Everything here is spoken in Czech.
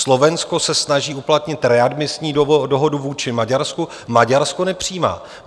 Slovensko se snaží uplatnit readmisní dohodu vůči Maďarsku, Maďarsko nepřijímá.